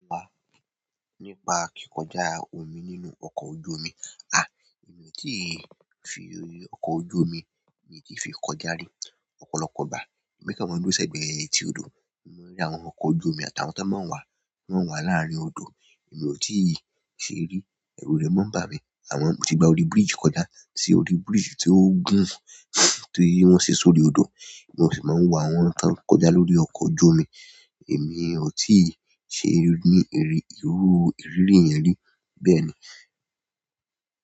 Nípa kikọja omi nínú ọkọ ọju omi e mi o ti fi ọkọ ojú omi mi ti fi kọjá ri. Ọ̀pọ̀lọpọ̀ ìgbà èmi kan máa ń dúró sẹ́gbẹ̀ẹ́ etí odò, mo mọ n rí àwọn ọkọ̀ ojú omi àtàwọn tó máa ń wà, wọ́n wà láàárín odò. Èmi ò tíì ṣe rí, ẹ̀rù rẹ̀ máa ń bà mí. Àmọ mo ti gba orí biriji kọjá sí orí búríji tí wọn gùn, tí wọ́n se sórí odò. Wọn sì máa ń wa àwọn kań kọjá lórí ọkọ̀ ojú omi. Èmi ò tíì ṣe rí ní irú, irú ìrírí yẹn rí bẹ́ẹ̀ ni.